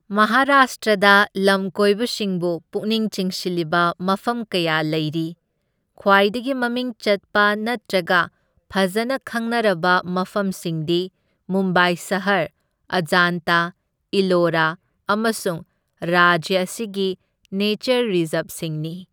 ꯃꯍꯥꯔꯥꯁꯇ꯭ꯔꯗ ꯂꯝꯀꯣꯏꯕꯁꯤꯡꯕꯨ ꯄꯨꯛꯅꯤꯡ ꯆꯤꯡꯁꯤꯜꯂꯤꯕ ꯃꯐꯝ ꯀꯌꯥ ꯂꯩꯔꯤ, ꯈ꯭ꯋꯥꯏꯗꯒꯤ ꯃꯃꯤꯡ ꯆꯠꯄ ꯅꯠꯇ꯭ꯔꯒ ꯐꯖꯅ ꯈꯪꯅꯔꯕ ꯃꯐꯝꯁꯤꯡꯗꯤ ꯃꯨꯝꯕꯥꯏ ꯁꯍꯔ, ꯑꯖꯥꯟꯇꯥ, ꯏꯂꯣꯔꯥ ꯑꯃꯁꯨꯡ ꯔꯥꯖ꯭ꯌ ꯑꯁꯤꯒꯤ ꯅꯦꯆꯔ ꯔꯤꯖꯥꯔꯕꯁꯤꯡꯅꯤ꯫